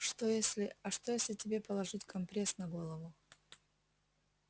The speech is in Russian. что если а что если тебе положить компресс на голову